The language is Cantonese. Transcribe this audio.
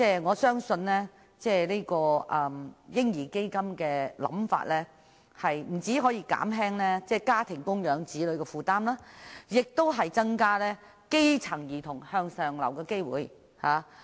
我相信"嬰兒基金"的構思不單可以減輕家庭供養子女的負擔，亦能夠增加基層兒童向上流的機會。